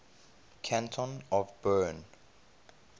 canton of bern